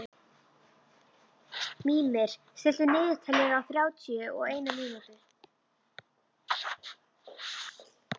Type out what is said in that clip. Mímir, stilltu niðurteljara á þrjátíu og eina mínútur.